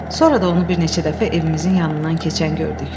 Sonra da onu bir neçə dəfə evimizin yanından keçən gördük.